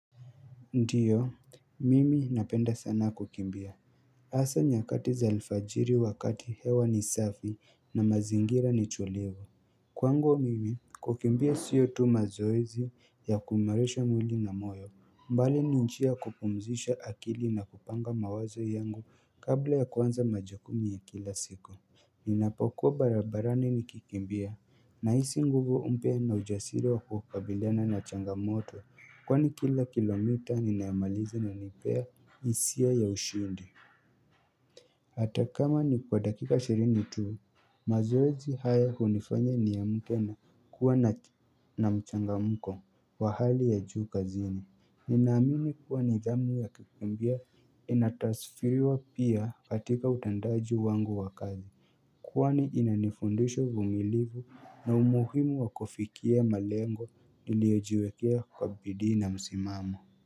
Ndiyo, mimi napenda sana kukimbia. Asa nyakati za lifajiri wakati hewa ni safi na mazingira ni tulivu. Kwangu mimi, kukimbia siyo tu mazoezi ya kuimarisha mwili na moyo. Mbali ni njia ya kupumzisha akili na kupanga mawazo yangu kabla ya kuanza majakumu ya kila siku. Ninapokuwa barabarani nikikimbia. Na hisi nguvu mpya na ujasiri wa kukabiliana na changamoto. Kwani kila kilomita ninayomaliza inanipea isia ya ushindi Hata kama ni kwa dakika ishirini tuu mazoezi haya unifanya niamke na kuwa na mchangamko wa hali ya juu kazini Ninaamini kuwa ni zamu ya kukimbia inatasfiriwa pia katika utendaji wangu wa kazi Kwani inanifundusha uvumilivu na umuhimu wakufikia malengo niliyojiwekea kwa bidii na msimamo.